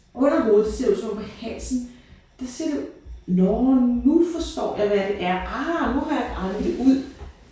Under hovedet der ser du så om halsen der ser du nåh nu forstår jeg hvad det er ah nu har jeg regnet det ud